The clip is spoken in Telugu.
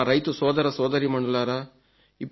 నా రైతు సోదర సోదరీమణులారా